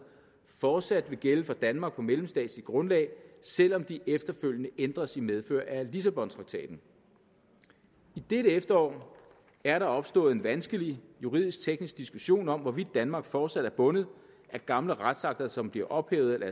fortsat vil gælde for danmark på mellemstatsligt grundlag selv om de efterfølgende ændres i medfør af lissabontraktaten i dette efterår er der opstået en vanskelig juridisk teknisk diskussion om hvorvidt danmark fortsat er bundet af gamle retsakter som bliver ophævet eller